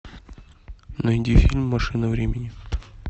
найди фильм машина времени